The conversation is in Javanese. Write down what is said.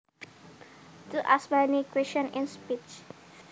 To ask many questions in speech